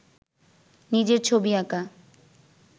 নিজের ছবি আঁকা